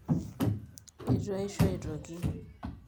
eitu aisho aitoki